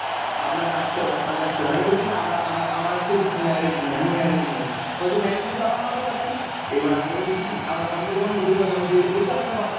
আপনাকে আসতে হবে আপনাকে আসতে হবে। আমি বলছি না আমার কেউ married নই আমি married নই। বলছে married নই বাবা মাকে পাঠান। এবার আমি বলছি কী আম~ আমি তো তখন বুঝতে পারলাম যে বলছে আপনার বাবা মা।